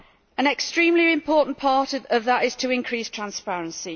An extremely important part of that is to increase transparency.